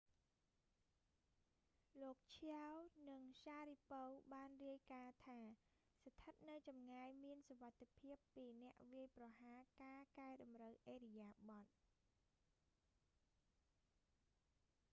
លោក chiao និង sharipov បានរាយការណ៍ថាស្ថិតនៅចម្ងាយមានសុវត្ថិភាពពីអ្នកវាយប្រហារការកែតម្រូវឥរិយាបថ